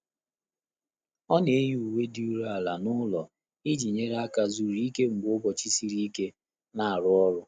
Ọ́ nà-éyí úwé dị́ írú álá n’ụ́lọ́ ìjí nyéré áká zùrù íké mgbè ụ́bọ̀chị̀ siri íké nà-árụ́ ọ́rụ́.